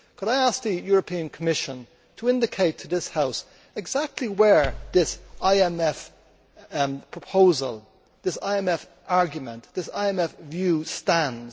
Could I ask the European Commission to indicate to this House exactly where this IMF proposal, this IMF argument, this IMF view stands?